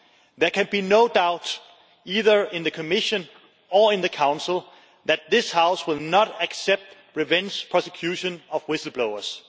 There can be no doubt either in the Commission or in the Council that this House will not accept revenge prosecution of whistle blowers.